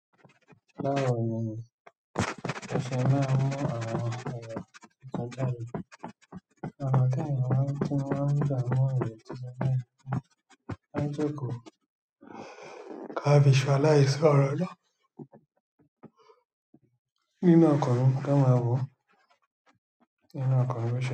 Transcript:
Láwọnyẹn, ọṣẹ máa ń mú àwọn èrò tíṣú dára. Àwọn kéèyàn wá ti máa ń dààmú èrò tíṣú náà kí wọ́n má jókòó ka bí ṣọlá yìí ṣe ọ̀rọ̀ lọ nínú ọkọ̀ rí ká máa wòó nínú ọkọ̀ rẹ ṣe.